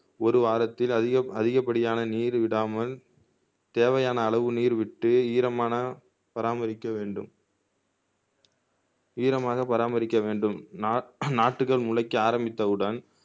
ஒரு வாரத்தில் அதிக அதிகப்படியான நீர் விடாமல் தேவையான அளவு நீர் விட்டு ஈரமான பராமரிக்க வேண்டும் ஈரமாக பராமரிக்க வேண்டும் நா நாற்றுக்கள் முளைக்க ஆரம்பித்தவுடன்